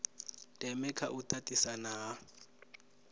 ndeme kha u tatisana ha